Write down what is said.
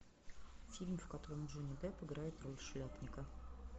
фильм в котором джонни депп играет роль шляпника